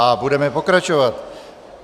A budeme pokračovat.